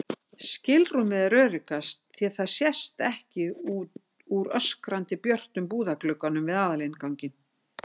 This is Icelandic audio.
skilrúmið er öruggast því það sést ekki úr öskrandi björtum búðarglugganum við aðalinnganginn.